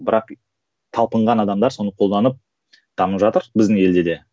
бірақ талпынған адамдар соны қолданып дамып жатыр біздің елде де